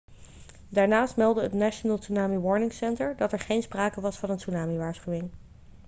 daarnaast meldde het national tsunami warning center dat er geen sprake was van een tsunami-waarschuwing